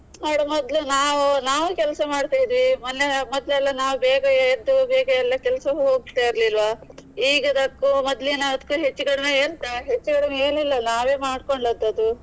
ಮಾಡ್ವ ಮೊದ್ಲು ನಾವು ಕೆಲ್ಸ ಮಾಡ್ತಿದ್ವಿ, ಮೊನ್ನೆ ಮೊದ್ಲೆಲ್ಲಾ ನಾವು ಬೇಗ ಎದ್ದು ಬೇಗ ಎಲ್ಲಾ ಕೆಲ್ಸಕ್ಕೆ ಹೋಗ್ತಾ ಇರ್ಲಿಲ್ವಾ. ಈಗಿದಕ್ಕು ಮೊದಲಿನದ್ಕು ಹೆಚ್ಚು ಕಡಿಮೆ ಎಂತ. ಹೆಚ್ಚು ಕಡಿಮೆ ಏನೂ ಇಲ್ಲ ನಾವೇ ಮಾಡ್ಕೊಂಡದ್ದು ಅದು.